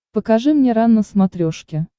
покажи мне рен на смотрешке